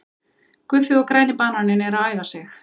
Guffi og græni bananinn eru að æfa sig.